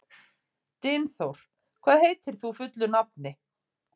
Dynþór, hvað heitir þú fullu nafni?